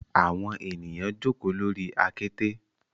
Awọn eniyan joko lori akete